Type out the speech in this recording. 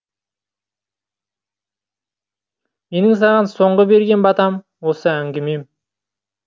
менің саған соңғы берген батам осы әңгімем